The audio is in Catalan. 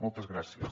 moltes gràcies